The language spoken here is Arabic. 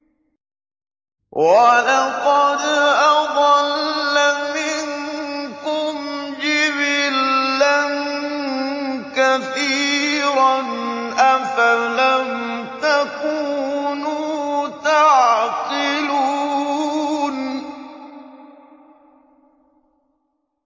وَلَقَدْ أَضَلَّ مِنكُمْ جِبِلًّا كَثِيرًا ۖ أَفَلَمْ تَكُونُوا تَعْقِلُونَ